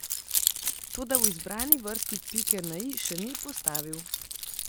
Toda v izbrani vrsti pike na i še ni postavil.